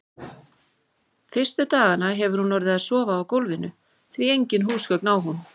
Fyrstu dagana hefur hún orðið að sofa á gólfinu, því engin húsgögn á hún.